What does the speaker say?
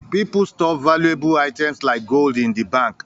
People store valuable items like gold in the bank